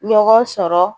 Ɲɔgɔn sɔrɔ